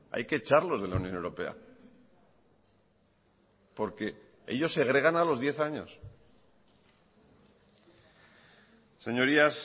hay que echarlos de la unión europea porque ellos segregan a los diez años señorías